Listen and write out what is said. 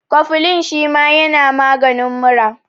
Kofilin shima yana maganin mura